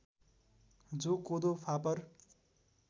जौ कोदो फापर